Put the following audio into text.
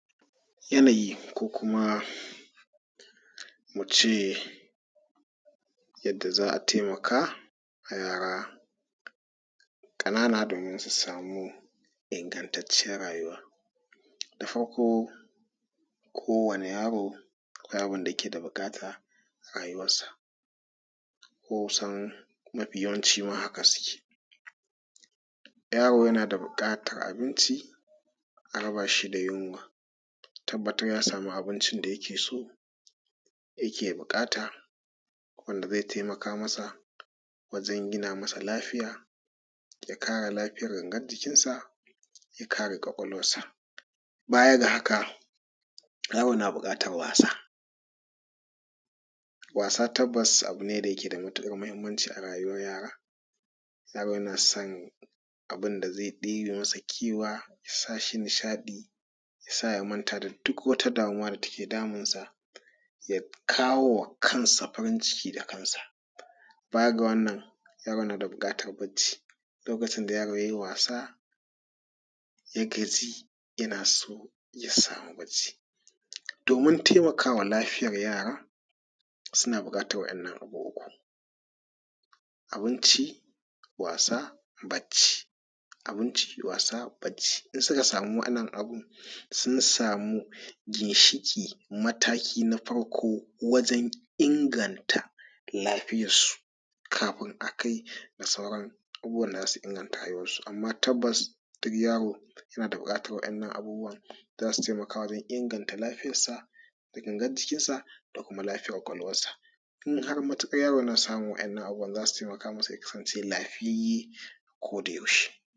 Yanayi ko kuma mu ce yadda za a taimaka a yara ƙananan domin su samu ingantaciyyar rayuwa. Da farko kowanne yaro akwai abun da yake da buƙata a rayuwarsa. Kusan mafi yawancin ma haka suke. Yaro yana da buƙatar abinci, a raba shi da yunwa. A tabbatar ya samu abincin da yake so yake buƙata wanda zai taimaka masa wajen gina masa lafiya, ya kare lafiyar gangan jikinsa, ya ƙare ƙwaƙwalwarsa. Baya ga haka, yaro na buƙatar wasa. Wasa tabbas abu ne da yake da mahimmanci a rayuwar yara. Yaro yana son abunda zai ɗebe masa kewa ya sa shi nishaɗi ya sa ya manta da duk wata damuwa da take damunsa, ya kawo wa kansa farin ciki da kansa. Baya ga wannan, yaro yana da buƙatar bacci, lokacin da yaro ya yi wasa ya gaji yana so ya samu bacci. Domin taimaka wa lafiyar yara suna buƙatar waƴannan sbu ukun: abinci, wasa, bacci. Abinci, wasa, bacci. In suka sama waɗannan abu sun samu ginshiƙi mataki na farko wajen inganta lafiyarsu kafin a kai ga sauran abubuwan da za su inganta rayuwarsu. Amma tabbas duk yaro yana da buƙatar waƴannan abubuwan za su taimaka wajen inganta lafiyarsa da gangar jikinsa da kuma lafiyar ƙwaƙwalwarsa. In har matuƙar yaro yana samun waƴannan abubuwan za su taimaka masa ya kasance lafiyayye a kodayaushe